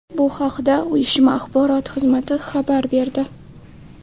Bu haqda uyushma axborot xizmati xabar berdi .